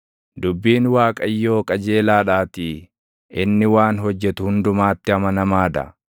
Dubbiin Waaqayyoo qajeelaadhaatii; inni waan hojjetu hundumaatti amanamaa dha.